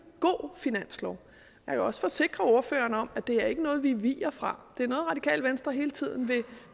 god finanslov jeg kan også forsikre ordføreren om at det ikke er noget vi viger fra det er noget radikale venstre hele tiden vil